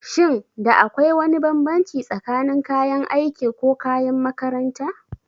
Shin da akwai wani bambanci tsakanin kayan aiki ko kayan makaranta?